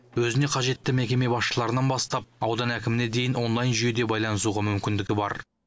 өзіне қажетті мекеме басшыларынан бастап аудан әкіміне дейін онлайн жүйеде байланысуға мүмкіндігі бар